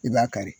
I b'a kari